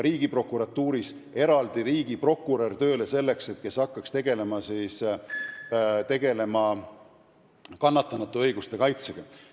Riigiprokuratuuris on eraldi tööle võetud riigiprokurör, kes tegeleb kannatanute õiguste kaitsega.